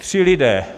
Tři lidé.